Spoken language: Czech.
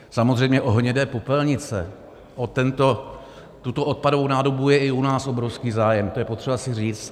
Samozřejmě o hnědé popelnice, o tuto odpadovou nádobu, je i u nás obrovský zájem, to je potřeba si říci.